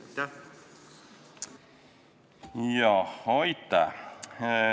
Aitäh!